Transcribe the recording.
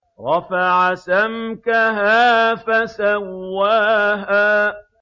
رَفَعَ سَمْكَهَا فَسَوَّاهَا